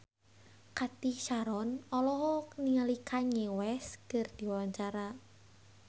Cathy Sharon olohok ningali Kanye West keur diwawancara